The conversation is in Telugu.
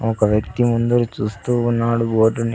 ఒక వ్యక్తి ముందర చూస్తూ ఉన్నాడు బోర్డుని .